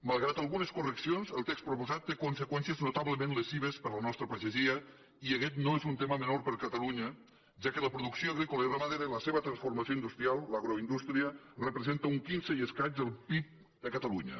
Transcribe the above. malgrat algunes correccions el text proposat té conseqüències notablement lesives per a la nostra pagesia i aguest no és un tema menor per a catalunya ja que la producció agrícola i ramadera i la seva transformació industrial l’agroindústria representa un quinze i escaig del pib de catalunya